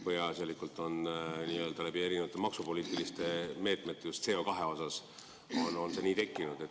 Peaasjalikult on see erinevate maksupoliitiliste meetmete tõttu just CO2 puhul nii tekkinud.